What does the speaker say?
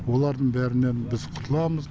олардың бәрінен біз құтыламыз